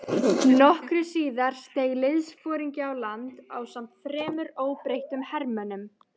Nokkru síðar steig liðsforingi á land ásamt þremur óbreyttum hermönnum.